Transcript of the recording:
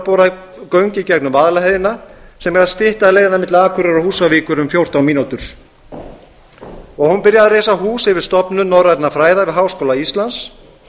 bora göng í gegnum vaðlaheiði sem eiga að stytta leiðina milli akureyrar og húsavíkur um fjórtán mínútur hún byrjaði að reisa hús yfir stofnun norrænna fræða við háskóla íslands